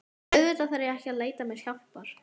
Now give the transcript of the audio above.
Auðvitað þarf ég ekki að leita mér hjálpar.